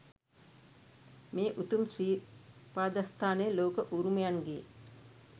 මේ උතුම් ශ්‍රී පාදස්ථානය ලෝක උරුමයන්ගේ